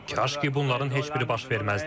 Kaş ki bunların heç biri baş verməzdi.